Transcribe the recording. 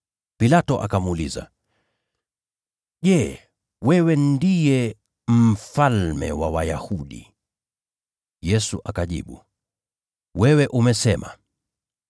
Pilato akamuuliza, “Je, wewe ndiye Mfalme wa Wayahudi?” Yesu akajibu, “Wewe umesema.”